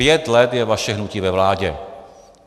Pět let je vaše hnutí ve vládě.